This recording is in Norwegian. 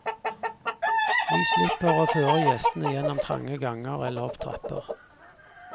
Vi slipper å føre gjestene gjennom trange ganger eller opp trapper.